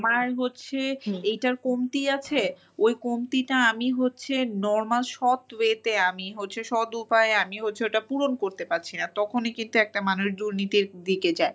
আমার হচ্ছে এইটার কমতি আছে ওই কমতিটা আমি হচ্ছে normal সৎ way তে আমি হচ্ছে সৎ উপায়ে আমি হচ্ছে ওটা পূরণ করতে পারছি না। তখনি কিন্তু একটা মানুষ দুর্নীতির দিকে যায়।